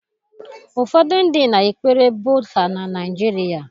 Ụfọdụ ndị na-ekpere Buddha na Naịjirịa